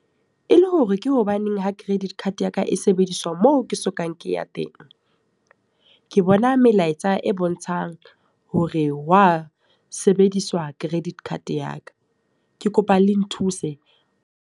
E le hore ke hobaneng ha credit card ya ka e sebediswa moo ke sokang ke ya teng. Ke bona melaetsa e bontshang hore wa sebediswa credit card ya ka. Ke kopa le nthuse.